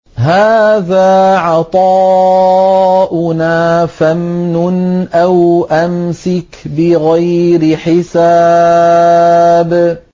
هَٰذَا عَطَاؤُنَا فَامْنُنْ أَوْ أَمْسِكْ بِغَيْرِ حِسَابٍ